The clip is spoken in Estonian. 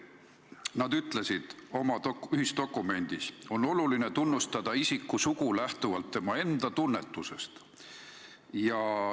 Nad ütlesid oma ühisdokumendis, et on oluline tunnustada isiku sugu lähtuvalt tema enda tunnetusest.